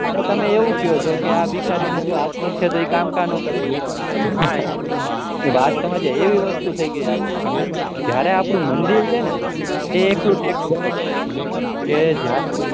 તમે એવું કહે છે કે ભિખારીને હાથ પગ છે તો તો એ કામકાજ ના કરે કે વાત સમજ આવી કે એવી વસ્તુ થઇ ગયી છે જયારે આપણું મંદિર છે ને એ એકલું બને છે કે જયરે